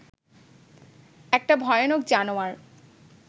একটা ভয়ানক জানোয়ার